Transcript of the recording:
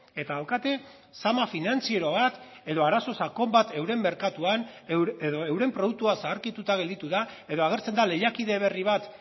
eta daukate zama finantziero bat edo arazo sakon bat euren merkatuan edo euren produktua zaharkituta gelditu da edo agertzen da lehiakide berri bat